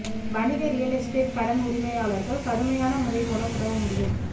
வணிக real estate கடன் உரிமையாளர்கள் கடுமையான முறை மூலம் உதவ முடியும்